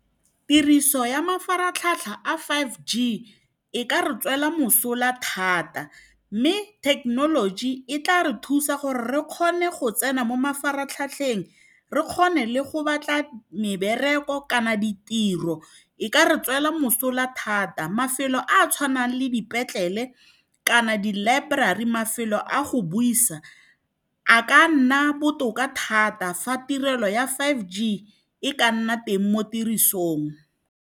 Tiriso ya mafaratlhatlha a Five G e ka re tswela mosola thata, mme thekenoloji e tla re thusa gore re kgone go tsena mo mafaratlhatlheng, re kgone le go batla mebereko kana ditiro e e ka re tswela mosola thata. Mafelo a a tshwanang le dipetlele kana di-library, mafelo a go buisa, a ka nna botoka thata fa tirelo ya Five G e ka nna teng mo tirisong.